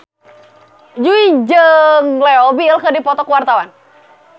Jui jeung Leo Bill keur dipoto ku wartawan